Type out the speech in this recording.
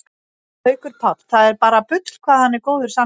Haukur Páll, það er bara bull hvað hann er góður samherji